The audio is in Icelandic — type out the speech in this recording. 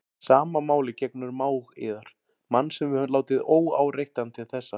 Sama máli gegnir um mág yðar, mann sem við höfum látið óáreittan til þessa.